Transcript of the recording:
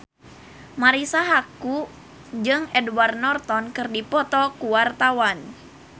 Marisa Haque jeung Edward Norton keur dipoto ku wartawan